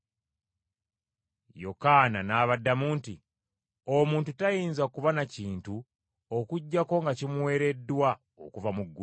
Yokaana n’abaddamu nti, “Omuntu tayinza kuba na kintu okuggyako nga kimuweereddwa okuva mu ggulu.